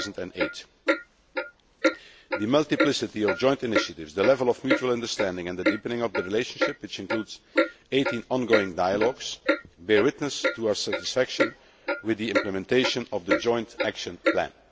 to 2008. The multiplicity of joint initiatives, the level of mutual understanding and the deepening of the relationship, which includes 18 ongoing dialogues, bear witness to our satisfaction with the implementation of the joint action plan.